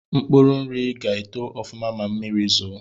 Mkpuru nri ga-eto ọfụma ma mmiri zoo